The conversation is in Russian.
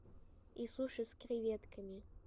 и суши с креветками